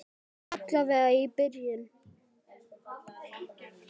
Alla vega í byrjun.